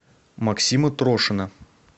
максима трошина